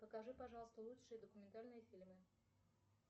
покажи пожалуйста лучшие документальные фильмы